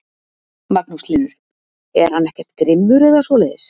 Magnús Hlynur: Er hann ekkert grimmur eða svoleiðis?